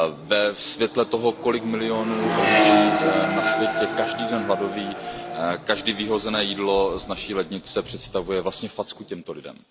Ve světle toho, kolik milionů lidí na světě každý den hladoví, každé vyhozené jídlo z naší lednice představuje vlastně facku těmto lidem.